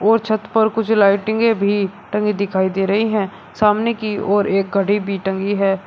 और छत पर कुछ लाइटिंगें भी टंगी दिखाई दे रही हैं सामने की ओर एक घड़ी भी टंगी है।